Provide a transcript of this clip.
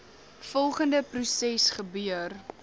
volgende proses gebeur